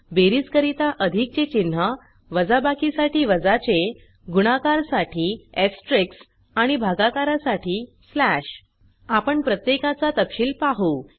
बेरीज करिता अधिक चे चिन्ह वजाबाकी साठी वजा चे गुणाकार साठी एस्टेरिस्क आणि भागाकारासाठी स्लॅश आपण प्रत्येकाचा तपशिल पाहु